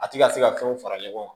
A ti ka se ka fɛnw fara ɲɔgɔn kan